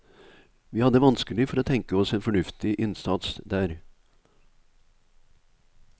Vi hadde vanskelig for å tenke oss en fornuftig innsats der.